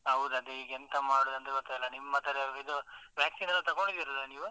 ಹೌದು ಅದೆ ಈಗ ಎಂತ ಮಾಡುದಂತ ಗೊತ್ತಾಗ್ತ ಇಲ್ಲ, ನಿಮ್ಮ ಕಡೆ ಇದು, vaccine ಎಲ್ಲ ತಗೊಂಡಿದ್ದೀರಲ್ಲಾ ನೀವು?